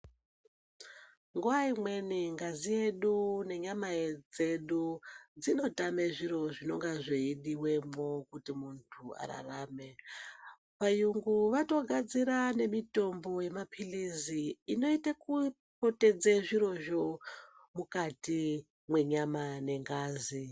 Nguwa imweni ngazi yedu nenyama dzedu, dzinotame zviro zvinonga zveidiwemwo kuti muntu ararame. Vayungu vatogadzira nemitombo yemaphilizi, inoite kupotedze zvirozvo, mukati mwenyama nengazi.